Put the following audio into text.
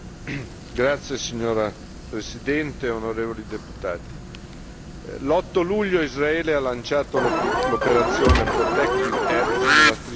Signora Presidente, onorevoli deputati, l'8 luglio Israele ha lanciato l'operazione nella Striscia di Gaza.